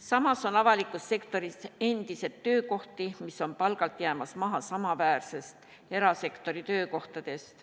Samas on avalikus sektoris endiselt töökohti, mis on palgalt jäämas maha samaväärsetest erasektori töökohtadest.